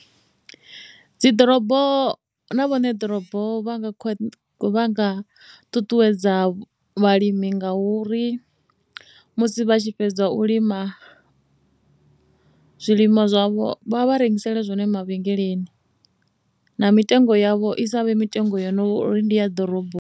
Dzi ḓorobo na vho ṋe ḓorobo vha nga ṱuṱuwedza vhalimi ngauri musi vha tshi fhedza u lima zwilima zwavho vha vha rengisela zwone mavhengeleni na mitengo yavho i sa vhe mitengo yo no ri ndi ya ḓoroboni.